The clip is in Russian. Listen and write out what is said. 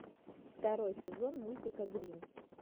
второй сезон мультика грин